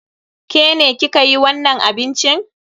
Ke ne ki ka yi wannan abincin?